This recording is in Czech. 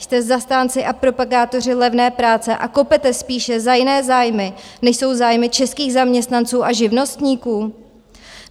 Jste zastánci a propagátoři levné práce a kopete spíše za jiné zájmy, než jsou zájmy českých zaměstnanců a živnostníků?